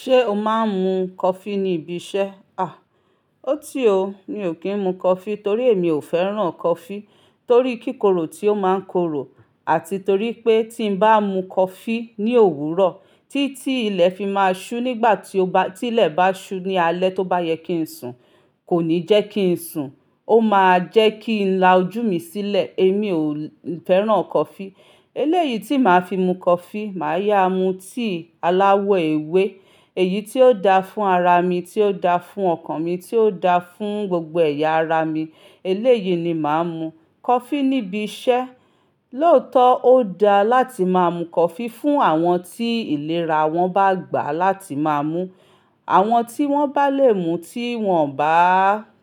Ṣé o máa ń mu coffee níbi iṣẹ́? À, ó ti o, mi ò kí ń mu coffee torí èmi ò fẹ́ràn coffee torí kíkorò tí ó máa ń korò àti torí pé tí mo bá mu coffee ní òwúrọ̀, tí tí ilẹ̀ fi máa ṣú nígbà tí ó bá, tí ilẹ̀ bá ṣú ní alẹ́ tó bá yẹ kí n sùn, kò ní jẹ́ kí n sùn, ó máa jẹ́ kí n la ojú mi sílẹ̀, èmi ò fẹ́ràn coffee. Eléyìí tí màá fi mu coffee, màá yá mu tí aláwọ̀ ewé, èyí tí ó da fún ara mi, tí ó da fún ọkàn mi, tí ó da fún gbogbo ẹ̀yà ara mi, eléyìí ni màá mu. Coffee níbi iṣẹ́, lóòótọ́ ó da láti máa mu coffee fún àwọn tí ìlera wọn bá gbà láti máa mú, àwọn tí wọ́n bá lè mu tí wọ́n bá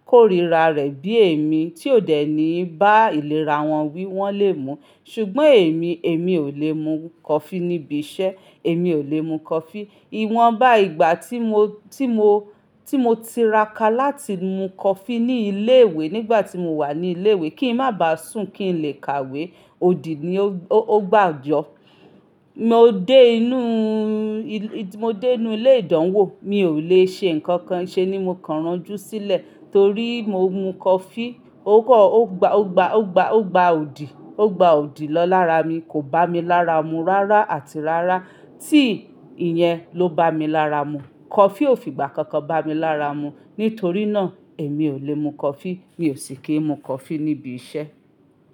kórira rẹ̀ bí èmi, tí ó dẹ̀ ní bá ìlera wọ́n wí wọ́n lè mu. Ṣùgbọ́n èmi, èmi ò lè mu coffee níbi iṣẹ́, èmi ò lè mu coffee. Iwọn bá ìgbà tí mo, tí mo, tí mo tiraka láti mu coffee ní ilé ìwé nígbà tí mo wà ní ilé ìwé kí ń má bá sùn kí ń lè kàwé, odi ni ó, ó gbá yọ. Mo dé inú, mo dé inú ilé ìdánwò, mi ò lè ṣe nǹkan kan ṣe ní mo kàn ránjú sílẹ̀ torí mo mu coffee, ó kọ́, ó gba, ó gba, ó gba, ó gba odi, ó gba odi lọ lára mi, kò bá mi lára mu rárá àti rárá tí ìyẹn ló bá mi lára mu. Coffee ò fi ìgbà kankan bá mi lára mu. Nítorí náà èmi ò lè mu coffee, mi ò sì kí ń mu coffee níbi iṣẹ́